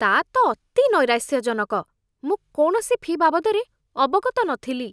ତା' ତ ଅତି ନୈରାଶ୍ୟଜଣକ! ମୁଁ କୌଣସି ଫି' ବାବଦରେ ଅବଗତ ନଥିଲି।